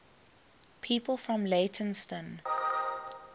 people from leytonstone